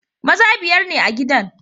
Maza biyar ne a gidan.